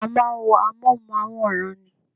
A máa ń wo amóhùnmáwòrán ni